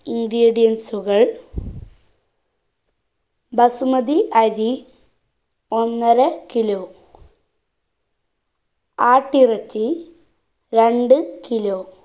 ingredients ഉകൾ ബസുമതി അരി ഒന്നര kilo ആട്ടിറച്ചി രണ്ട് kilo